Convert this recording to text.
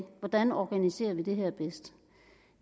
hvordan organiserer det her